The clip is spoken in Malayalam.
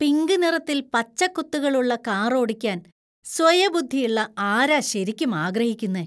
പിങ്ക് നിറത്തിൽ പച്ച കുത്തുകളുള്ള കാർ ഓടിക്കാൻ സ്വയബുദ്ധീള്ള ആരാ ശെരിക്കും ആഗ്രഹിക്കുന്നേ?